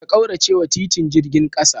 Ka kauracewa titin jirgin kasa.